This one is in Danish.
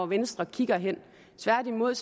venstre kigger hen tværtimod